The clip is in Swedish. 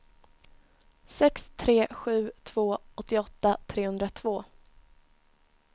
sex tre sju två åttioåtta trehundratvå